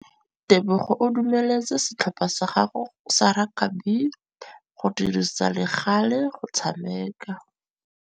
Tebogô o dumeletse setlhopha sa gagwe sa rakabi go dirisa le galê go tshameka.